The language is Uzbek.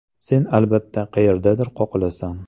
Sen albatta qayerdadir qoqilasan.